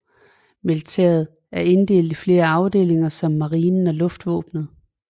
Militæret er inddelt i flere afdelinger som marinen og luftvåbenet